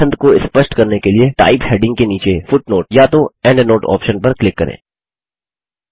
अपनी पसंद को स्पष्ट करने के लिए टाइप हैडिंग के नीचे फुटनोट या तो एंडनोट ऑप्शन पर क्लिक करें